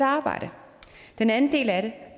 arbejde den anden del af det